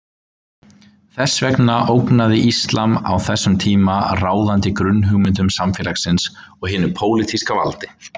Þess vegna ógnaði íslam á þessum tíma ráðandi grunnhugmyndum samfélagsins og hinu pólitíska valdi.